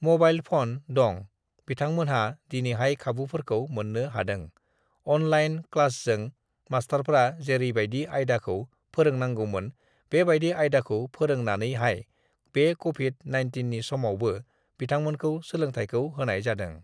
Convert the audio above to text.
uhh mobile phone (mobile phone) दं बिथांमोनहा दिनैहाय खाबुफोरखौ मोननो हादों अनलाइन (online) क्लासजों मासथारफ्रा जेरैबायदि आयदाखौ फोरोंनांगौमोन बेबायदि आयदाखौ फोरोंनानैहाय uhh बे कभिड (Covid) नाइनटिइननि समावबो बिथांमोनखौ uhh सोलोंथायखौ होनाय जादों।